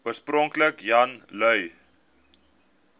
oorspronklik jan lui